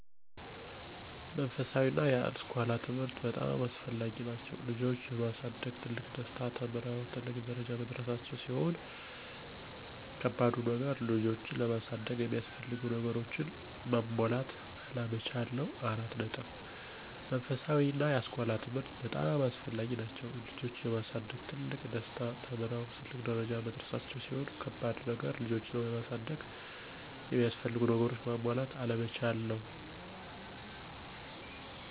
መንፈሳዊ እና የአስኮላ ትምህርት በጣም አስፈላጊ ናቸው። ልጆች የማሳደግ ትልቁ ደስታ ተምረው ትልቅ ደረጃ መድረሳቸው ሲሆን ከባዱ ነገር ልጆችን ለማሳደግ የሚያስፈልጉ ነገሮችን ማሟላት አለመቻል ነው።